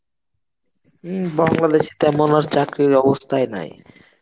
বাংলাদেশে তেমন আর চাকরির অবস্থায় নাই.